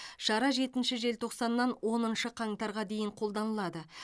шара жетінші желтоқсаннан оныншы қаңтарға дейін қолданылады